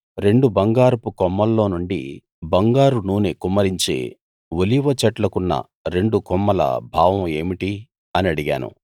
రెండు బంగారపు కొమ్ముల్లో నుండి బంగారు నూనె కుమ్మరించే ఒలీవ చెట్లకున్న రెండు కొమ్మల భావం ఏమిటి అని అడిగాను